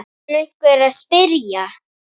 kann einhver að spyrja.